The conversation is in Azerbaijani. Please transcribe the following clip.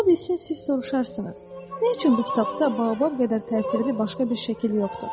Ola bilsin siz soruşarsınız: “Nə üçün bu kitabda babab qədər təsirli başqa bir şəkil yoxdur?”